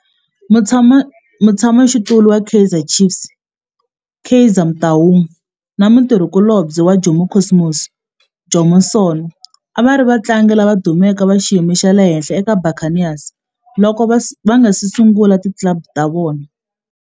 Mutshama xitulu wa Kaizer Chiefs Kaizer Motaung na mutirhi kulobye wa Jomo Cosmos Jomo Sono a va ri vatlangi lava dumeke va xiyimo xa le henhla eka Buccaneers loko va nga si sungula ti club ta vona.